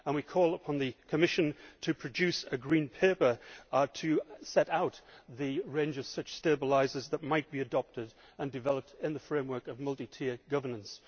We call upon the Commission to produce a Green Paper to set out the range of such stabilisers that might be adopted and developed in the framework of multi tiered governance.